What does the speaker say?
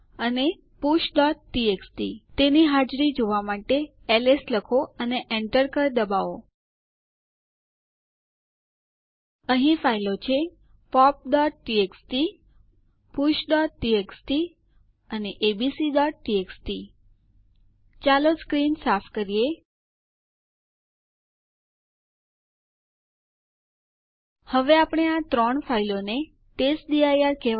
ID command બધા યુઝરો અને ગ્રુપો ની ઓળખ ચકાસવા માટે ઉપયોગ થાય છે યુઝરોની ઓળખ વિશે જાણવા માટે આપણે ઇડ સ્પેસ u વાપરીશું